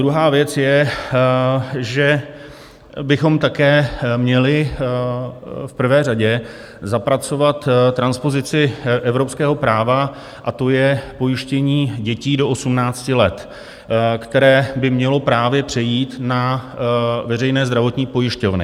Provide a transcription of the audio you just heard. Druhá věc je, že bychom také měli v prvé řadě zapracovat transpozici evropského práva, a to je pojištění dětí do 18 let, které by mělo právě přejít na veřejné zdravotní pojišťovny.